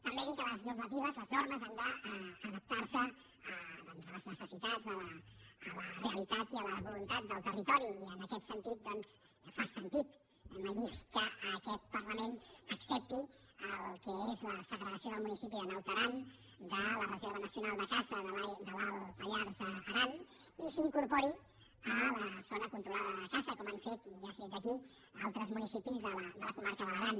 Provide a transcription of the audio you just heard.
també dir que les normatives les normes han d’adap·tar·se doncs a les necessitats a la realitat i a la vo·luntat del territori i en aquest sentit fa sentit mai millor dit que aquest parlament accepti el que és la segregació del municipi de naut aran de la reserva nacional de caça de l’alt pallars · aran i s’incorpori a la zona controlada de caça com han fet i ja s’ha dit aquí altres municipis de la comarca de l’aran